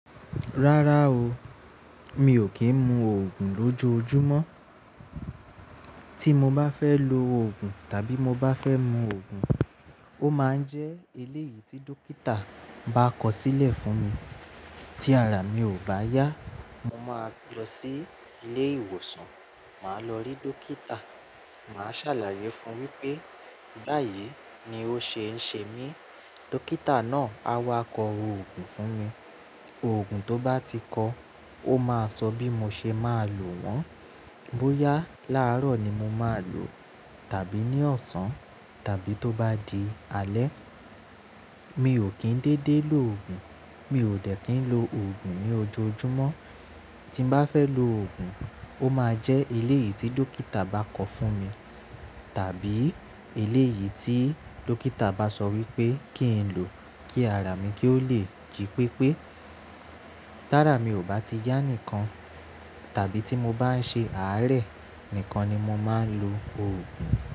Rárá o, mi ò kí ń mu òògùn lójoojúmọ́. Tí mo bá fẹ́ lo òògùn tàbí mo bá fẹ́ mu òògùn, ó máa ń jẹ́ eléyìí tí dókítà bá kọ sílẹ̀ fún mi. Tí ara mi ò bá yá, mo máa lọ sí ilé ìwòsàn, màá lọ rí dókítà, màá ṣàlàyé fun wípé báyìí ni ó ṣe ń ṣe mí. Dókítà náà á wá kọ òògùn fún mi. Òògùn tó bá ti kọ, ó máa sọ bí mo ṣe máa lò wọ́n. Bóyá láàárọ̀ ni mo máa lò, tàbí ní ọ̀sán, tàbí tó bá di alẹ́. Mi ò kín dédé lò òògùn, mi ò dẹ̀ kín lo òògùn ní ojoojúmọ́. Tí mo bá fẹ́ lo òògùn, ó máa jẹ́ eléyìí tí dókítà bá kọ fún mi, tàbí eléyìí tí dókítà bá sọ wípé kí n lò kí ara mi kí ó lè jí pépé. Tí ara mi ò bá ti yá nìkan, tàbí tí mo bá ń ṣe àárẹ̀ nìkan ni mo máa ń lo òògùn.